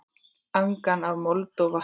Angan af mold og vatni.